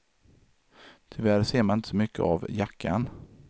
Tyvärr ser man inte så mycket av jackan.